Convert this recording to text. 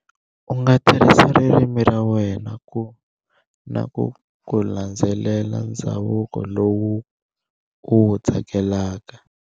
U nga tirhisa ririmi ra wena ku, na ku landzelela ndzhavuko lowu u wu tsakela.